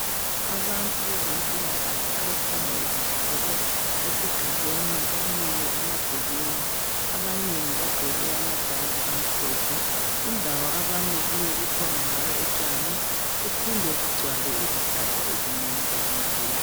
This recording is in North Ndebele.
Abantu bezempilakahle abakhanya bevakatshele esigabeni, bamile emagcekeni. Abanengi bagqoke amajazi amhlophe. Indawo abami kiyo, kukhona njalo utshani kuphinde kugcwale izihlahla ezinengi ezinkulu.